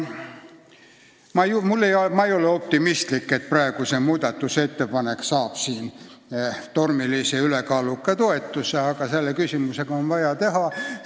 Ma ei ole optimistlik, et see muudatusettepanek saab siin ülekaaluka toetuse, aga palun näidake suhtumist, et selle küsimusega on vaja tegeleda!